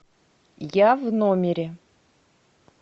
я в номере